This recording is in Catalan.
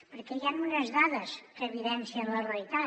perquè hi han unes dades que evidencien la realitat